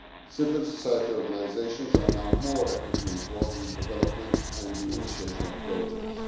Civil society organisations are now more actively involved in the development and the initiation of projects.